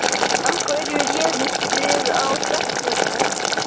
Af hverju réðust þið á stelpurnar